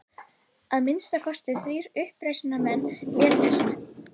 Að minnsta kosti þrír uppreisnarmenn létust